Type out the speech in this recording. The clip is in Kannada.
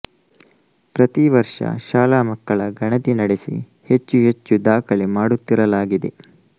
ಪ್ರತಿವರ್ಷ ಶಾಲಾ ಮಕ್ಕಳ ಗಣತಿ ನಡೆಸಿ ಹೆಚ್ಚು ಹೆಚ್ಚು ದಾಖಲೆ ಮಾಡುತ್ತಿರಲಾಗಿದೆ